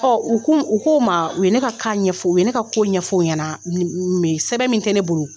Ɔ u u k'o ma u ye ne ka ɲɛfɔ, u ye ne ka ko ɲɛfɔw ɲɛna me sɛbɛn min tɛ ne bolo.